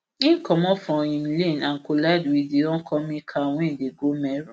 im comot from im lane and collide wit di oncoming car wey dey go meru